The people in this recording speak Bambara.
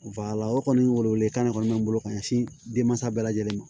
o kɔni welewele kan ne kɔni bɛ n bolo ka ɲɛsin denmansa bɛɛ lajɛlen ma